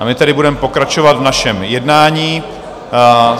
A my tedy budeme pokračovat v našem jednání.